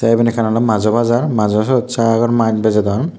te eben ekkan olee majjo bajar majo siot sagor mas bijodon.